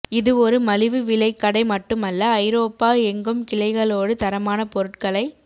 இது ஒரு மலிவு விலைக் கடை மட்டுமல்ல ஐரோப்பா எங்கும் கிளைகளோடு தரமான பொருட்களை